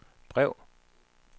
brev